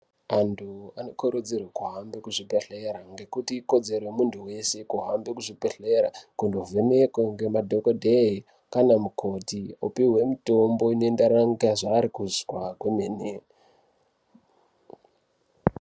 Antu anokurudzirwe kuhambe kuzvibhedhlera ngekuti ikodzero yemuntu weshe kuhambe kuzvibhedhlera kundovhenekwe ngemadhokodhee ngana mukoti opihwe mutombo inendera ngezvaari kuzwa kwemene.